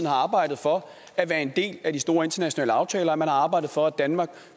har arbejdet for at være en del af de store internationale aftaler at man har arbejdet for at danmark